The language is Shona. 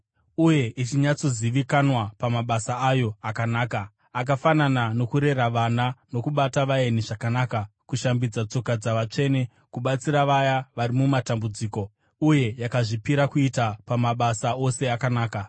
uye ichinyatsozivikanwa pamabasa ayo akanaka, akafanana nokurera vana, nokubata vaeni zvakanaka, kushambidza tsoka dzavatsvene, kubatsira vaya vari mumatambudziko, uye yakazvipira kuita pamabasa ose akanaka.